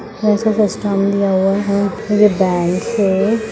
ऐसा सिस्टम दिया हुआ है और ये बैंक है।